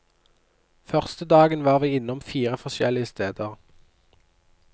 Første dagen var vi innom fire forskjellige steder.